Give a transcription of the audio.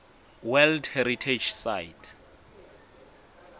world heritage site